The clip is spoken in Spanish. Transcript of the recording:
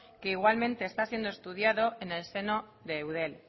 que igualmente está siendo estudiado en el seno de eudel